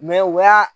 u y'a